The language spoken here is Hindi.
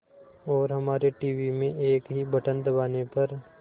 और हमारे टीवी में एक ही बटन दबाने पर